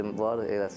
Necə var eləsən.